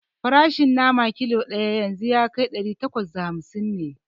Farashin nama kilo ɗaya yanzu ɗari takwas da hamsin ne